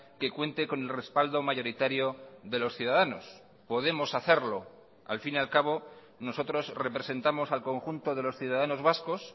que cuente con el respaldo mayoritario de los ciudadanos podemos hacerlo al fin y al cabo nosotros representamos al conjunto de los ciudadanos vascos